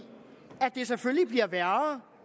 at det selvfølgelig bliver værre